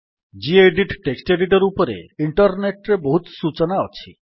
gedit text editor ଉପରେ internet ରେ ବହୁତ ସୂଚନା ଅଛି